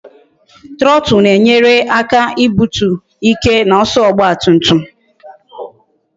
Trotu na-enyere aka ibutu ike na ọsọ ọgba tum tum